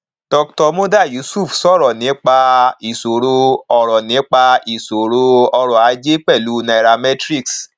dr muda yusuf sọrọ nípa ìṣòro ọrọ nípa ìṣòro ọrọ ajé pẹlú nairametrics